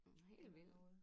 Hel vild